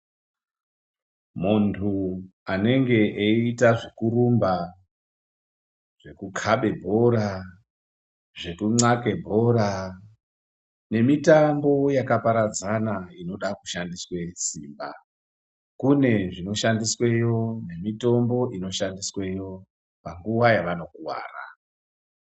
Munhu anenge eita zvekurumba, nekukabe bhora, zvekunxahle bhora nemitambo yakaparadzana inoda simba, kune zvinoshandisweyo, mitombo inoshandisweyo panguva yavano kuvara.